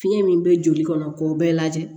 Fiɲɛ min bɛ joli kɔnɔ k'o bɛɛ lajɛ